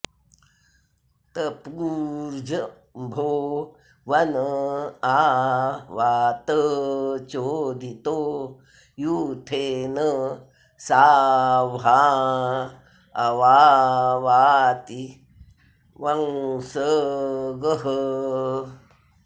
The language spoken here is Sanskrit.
तपु॑र्जम्भो॒ वन॒ आ वात॑चोदितो यू॒थे न सा॒ह्वाँ अव॑ वाति॒ वंस॑गः